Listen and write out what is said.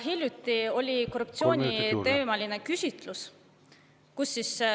Hiljuti tehti korruptsiooniteemaline küsitlus.